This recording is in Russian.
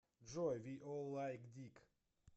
джой ви ол лайк дик